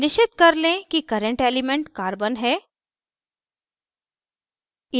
निश्चित कर लें कि current element carbon है